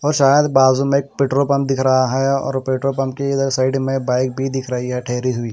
शायद बाजू में पेट्रोल पंप दिख रहा है और पेट्रोल पंप के इधर साइड में बाइक भी दिख रही है ठहरी हुई।